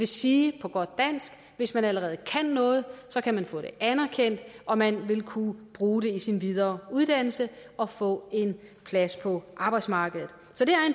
sige at hvis man allerede kan noget kan man få det anerkendt og man vil kunne bruge det i sin videreuddannelse og få en plads på arbejdsmarkedet